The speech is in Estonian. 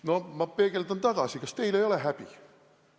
No ma peegeldan tagasi: kas teil ei ole häbi?